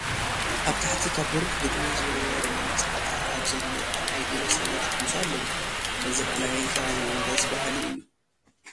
ኣብ ትሕቲ ካብ በሪኽ ግድሚ ዝውርወር መንጫዕታ ኣብ ዘሎ ቀላይ ገለ ሰባት ይሕምሱ ኣለዉ፡፡ እዚ ቀላይን ከባቢኡን ደስ በሃሊ እዩ፡፡